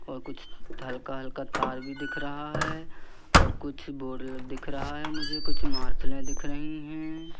और कुछ हल्का-हल्का तार भी दिख रहा है और कुछ बोर्ड दिख रहा है मुझे कुछ मार्शले दिख रही हैं।